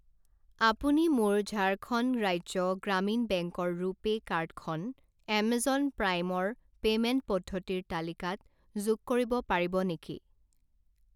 আপুনি মোৰ ঝাৰখণ্ড ৰাজ্য গ্ৰামীণ বেংক ৰ ৰুপে কাৰ্ড খন এমেজন প্ৰাইম ৰ পে'মেণ্ট পদ্ধতিৰ তালিকাত যোগ কৰিব পাৰিব নেকি?